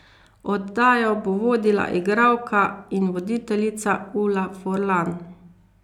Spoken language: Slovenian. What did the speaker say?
Oddajo bo vodila igralka in voditeljica Ula Furlan.